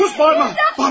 Sus, bağırma!